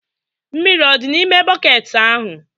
Mmiri ọ dị n'ime bọket ahụ?